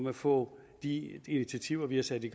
at få de initiativer vi har taget i